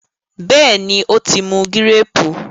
béèni o tí mú Gírèèpù?